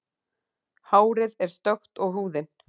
Hárið er stökkt og húðin.